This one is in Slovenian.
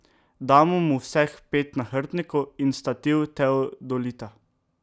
Damo mu vseh pet nahrbtnikov in stativ teodolita.